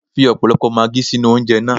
Fi ọ̀pọ̀lọpọ̀ maagí sínú oúnjẹ na.